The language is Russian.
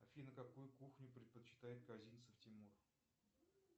афина какую кухню предпочитает козинцев тимур